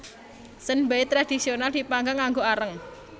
Senbei tradhisional dipanggang nganggo areng